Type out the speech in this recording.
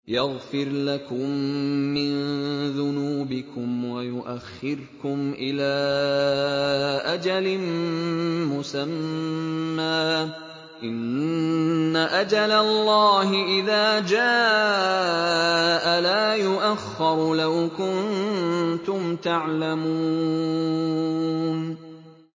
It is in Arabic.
يَغْفِرْ لَكُم مِّن ذُنُوبِكُمْ وَيُؤَخِّرْكُمْ إِلَىٰ أَجَلٍ مُّسَمًّى ۚ إِنَّ أَجَلَ اللَّهِ إِذَا جَاءَ لَا يُؤَخَّرُ ۖ لَوْ كُنتُمْ تَعْلَمُونَ